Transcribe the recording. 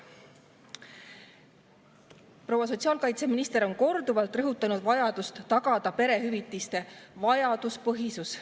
Proua sotsiaalkaitseminister on korduvalt rõhutanud vajadust tagada perehüvitiste vajaduspõhisus.